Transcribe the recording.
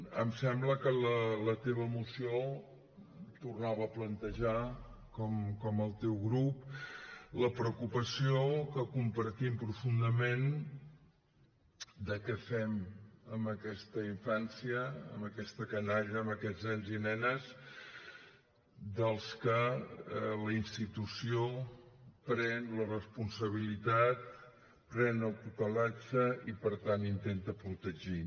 em sembla que la teva moció tornava a plantejar com el teu grup la preocupació que compartim profundament de què fem amb aquesta infància amb aquesta canalla amb aquests nens i nenes dels que la institució pren la responsabilitat pren la tutela i per tant intenta protegir